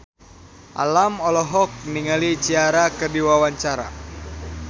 Alam olohok ningali Ciara keur diwawancara